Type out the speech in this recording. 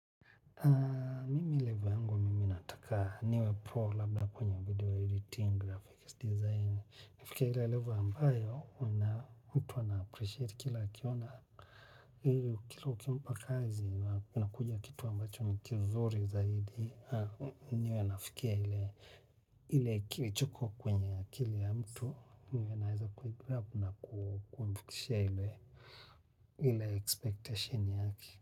Kwangu mimi nataka niwe pro laba kwenye video editing graphics design. Nifike ile level ambayo, mtu ana appreciate kila akiona ili ukimpa kazi, inakuja kitu ambacho ni kizuri zaidi. Niwe nafikia ile ile kilichoko kwenye akili ya mtu. Niwe naeza kuigrab na kumfikisha ile ile expectation yake.